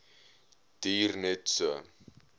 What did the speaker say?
duur net so